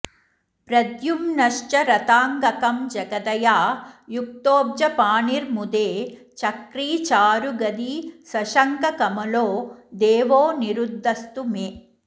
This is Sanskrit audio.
प्रद्युम्नश्च रथाङ्गकं जगदया युक्तोऽब्जपाणिर्मुदे चक्री चारुगदी सशङ्खकमलो देवोऽनिरुद्धस्तु मे